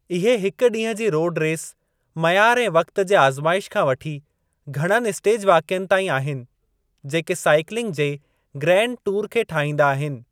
इहे हिक ॾींहं जी रोडु रेस, मयारु ऐं वक़्त जे आज़माइश खां वठी घणनि स्टेज वाक़िअनि ताईं आहिनि जेके साइक्लिंग जे ग्रांड टूर खे ठाहीनदा आहिनि।